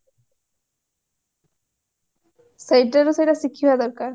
ସେଇଟାରୁ ସେଟା ଶିଖିବା ଦରକାର